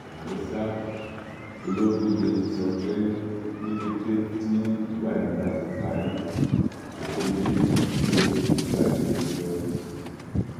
àmọ ṣá ológóde ti sọ pé ní kété tíwádìí bá ti parí làwọn méjèèjì yóò fojú balẹẹjọ